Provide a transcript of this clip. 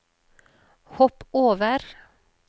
hopp over